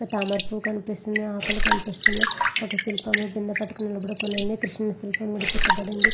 తామర పూలు కనిపిస్తుంది.ఆకులు కనిపిస్తునాయ్. ఒక శిల్పాము కింద పెట్టబడింది. కృష్ణుడు శిల్పం కూడా చెక్కబడింది.